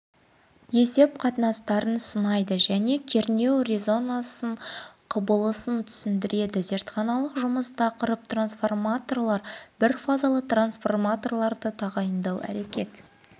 есеп қатынастарын санайды және кернеу резонансы құбылысын түсіндіреді зертханалық жұмыс тақырып трансформаторлар бірфазалы трансформаторды тағайындау әрекет